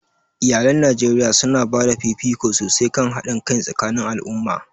Iyalan Najeriya su na ba da fifiko sosai kan haɗin kai tsakanin al'umma.